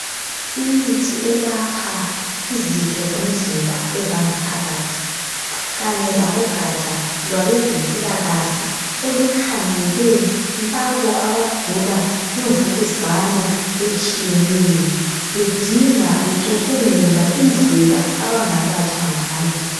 Imithi elapha izitho zomzimba ezangaphakathi kanye labogatsha lwabezempilakahle okukhangele labo abagula imvukuzane etshiyeneyo. Bedinga, becubungula indlela abangalatshwa ngayo.